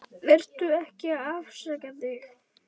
Vertu ekki að afsaka þig.